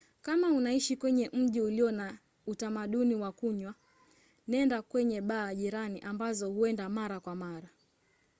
kama unaishi kwenye mji ulio na utamdauni wa kunywa nenda kwenye baa jirani ambazo huendi mara kwa mara